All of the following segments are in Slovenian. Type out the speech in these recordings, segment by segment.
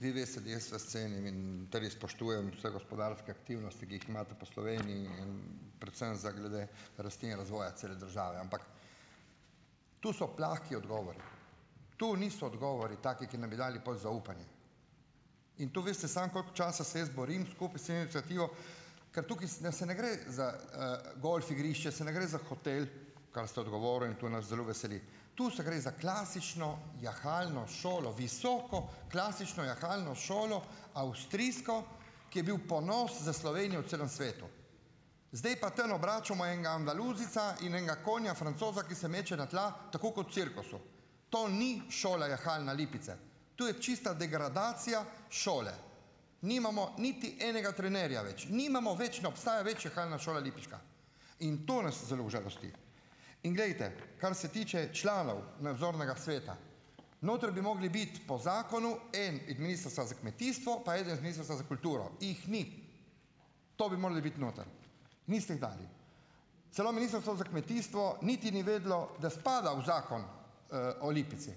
Vi veste, da jaz vas cenim in tudi spoštujem vse gospodarske aktivnosti, ki jih imate po Sloveniji in predvsem za glede rasti in razvoja cele države. Ampak tu so plehki odgovori. To niso odgovori taki, ki nam bi dali pol zaupanje. In to veste, samo koliko časa se jaz borim skupaj s civilno iniciativo, ker tukaj ne se ne gre za, golf igrišče, se ne gre za hotel, kar ste odgovoril, in tu nas zelo veseli. Tu se gre za klasično jahalno šolo, visoko klasično jahalno šolo, avstrijsko, ki je bil ponos za Slovenijo v celem svetu. Zdaj pa tam obračamo enega andaluzijca in enega konja francoza, ki se meče na tla tako kot v cirkusu. To ni šola jahalna Lipice. To je čista degradacija šole. Nimamo niti enega trenerja več. Nimamo več, ne obstaja več jahalna šola lipiška. In to nas zelo užalosti. In glejte, kar se tiče članov nadzornega sveta, notri bi mogli biti po zakonu en iz Ministrstva za kmetijstvo, pa eden iz Ministrstva za kulturo. Jih ni. To bi morali biti noter. Niste jih dali. Celo Ministrstvo za kmetijstvo niti ni vedelo, da spada v zakon, o Lipici.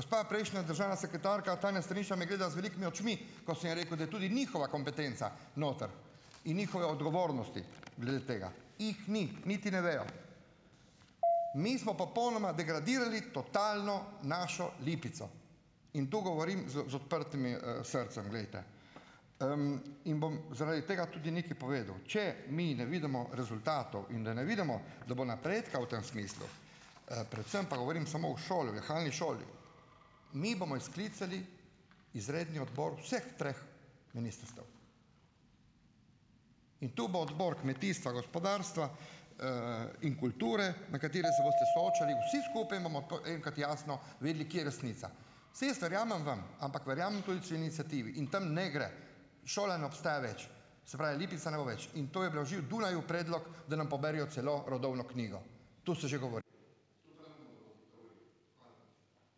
Gospa prejšnja državna sekretarka Tanja Strniša me gleda z velikimi očmi, ko sem ji rekel, da je tudi njihova kompetenca noter. In njihove odgovornosti glede tega. Jih ni, niti ne vejo. Mi smo popolnoma degradirali, totalno našo Lipico. In to govorim z z odprtim, srcem, glejte, in bom zaradi tega tudi nekaj povedal, če mi ne vidimo rezultatov in da ne vidimo, da bo napredka v tem smislu, predvsem pa govorim samo o šoli, jahalni šoli. Mi bomo sklicali izredni odbor vseh treh ministrstev. In tu bo Odbor kmetijstva, gospodarstva, in kulture, na katerem se boste soočali vsi skupaj, in bomo enkrat jasno videli, kje je resnica. Saj jaz verjamem vam, ampak verjamem tudi civilni iniciativi in tam ne gre. Šola ne obstaja več. Se pravi, Lipice ne bo več. In to je bilo že v Dunaju predlog, da nam poberejo celo rodovno knjigo. To se že ...